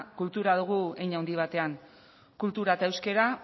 kultura dugu hein handi batean kultura eta euskera